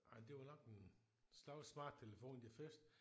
Ej det var nok en slags smarttelefon de første